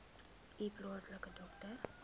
u plaaslike dokter